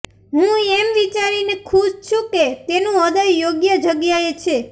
હું એમ વિચારીને ખુશ છું કે તેનું હૃદય યોગ્ય જગ્યાએ છે